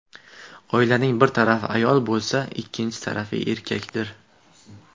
Oilaning bir tarafi ayol bo‘lsa, ikkinchi tarafi erkakdir.